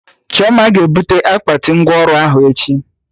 Chioma ga ebute akpati ngwa ọrụ ahụ echi